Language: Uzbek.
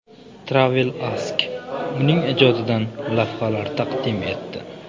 Travel Ask’uning ijodidan lavhalar taqdim etdi.